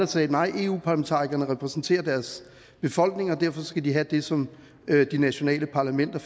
sagde nej for eu parlamentarikerne repræsenterer deres befolkninger og derfor skal de have det som de nationale parlamenter